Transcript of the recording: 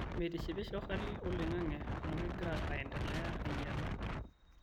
meitishipisho hali oloing'ang'e amu kegira aendelea ainyala